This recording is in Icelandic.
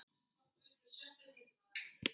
Nei, það er ekki þannig.